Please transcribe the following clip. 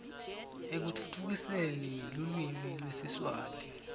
ekutfutfukiseni lulwimi lwesiswati